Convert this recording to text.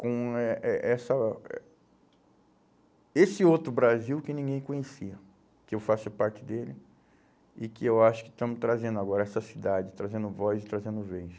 com eh eh essa eh esse outro Brasil que ninguém conhecia, que eu faço parte dele e que eu acho que estamos trazendo agora essa cidade, trazendo voz e trazendo vez.